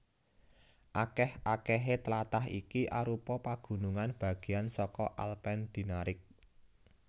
Akèh akèhé tlatah iki arupa pagunungan bagéan saka Alpen Dinaric